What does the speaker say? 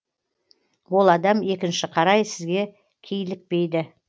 ол адам екінші қарай сізге кейлікпейді